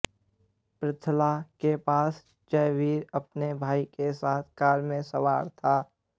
पृथला के पास जयवीर अपने भाई के साथ कार में सवार था